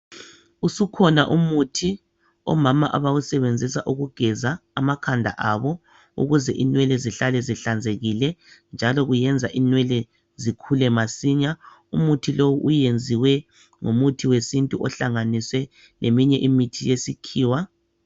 Usukhona umuthi omama abawusebenzisa ukugeza amakhanda abo ukuze inwele zihlale zihlanzekile njalo kuyenza inwele zikhule masinya. Umuthi lo uyenziwe ngomuthi wesintu ohlanganiswe leminye imithi yesikhiwa.